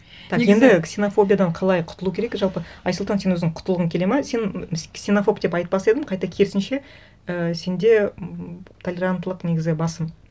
негізі так енді ксенофобиядан қалай құтылу керек жалпы айсұлтан сен өзің құтылғың келеді ме сен ксенофоб деп айтпас едім қайта керісінше і сенде м толеранттылық негізі басым